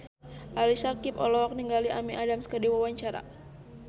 Ali Syakieb olohok ningali Amy Adams keur diwawancara